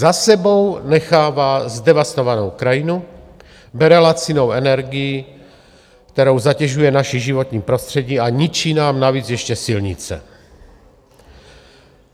Za sebou nechává zdevastovanou krajinu, bere lacinou energii, kterou zatěžuje naše životní prostředí, a ničí nám navíc ještě silnice.